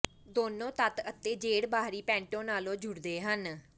ਦੋਨੋਂ ਤੱਤ ਅਤੇ ਜੇਡ ਬਾਹਰੀ ਪੈਂਟੋ ਨਾਲ ਜੁੜਦੇ ਹਨ